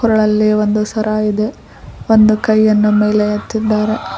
ಕೊರಳಲ್ಲಿ ಒಂದು ಸರ ಇದೆ ಒಂದು ಕೈಯನ್ನು ಮೇಲೆ ಎತ್ತಿದ್ದಾರೆ.